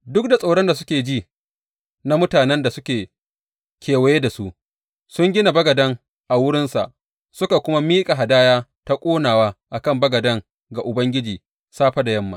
Duk da tsoron da suke ji na mutanen da suke kewaye da su, sun gina bagaden a wurinsa, suka kuma miƙa hadaya ta ƙonawa a kan bagaden ga Ubangiji safe da yamma.